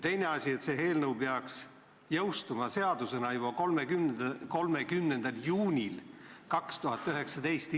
Teine asi on, et eelnõu peaks seadusena jõustuma juba 30. juunil 2019.